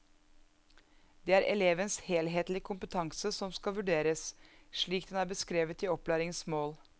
Det er elevens helhetlige kompetanse som skal vurderes, slik den er beskrevet i opplæringens mål.